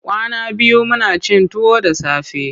Kwana biyu muna cin tuwo da safe.